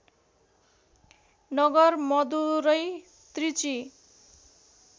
Nagar Madurai Trichy